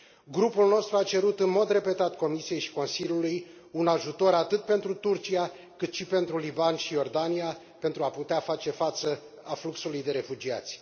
Grupul nostru a cerut, în mod repetat, Comisiei și Consiliului un ajutor atât pentru Turcia, cât și pentru Liban și Iordania, pentru a putea face față afluxului de refugiați.